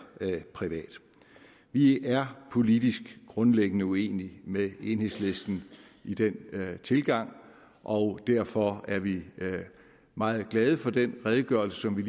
privat vi er politisk grundlæggende uenige med enhedslisten i den tilgang og derfor er vi meget glade for den redegørelse som vi